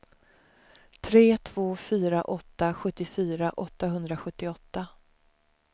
tre två fyra åtta sjuttiofyra åttahundrasjuttioåtta